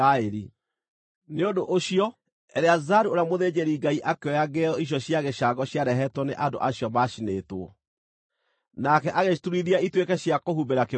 Nĩ ũndũ ũcio Eleazaru ũrĩa mũthĩnjĩri-Ngai akĩoya ngĩo icio cia gĩcango ciarehetwo nĩ andũ acio maacinĩtwo, nake agĩciturithia ituĩke cia kũhumbĩra kĩgongona,